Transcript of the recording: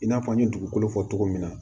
I n'a fɔ n ye dugukolo fɔ cogo min na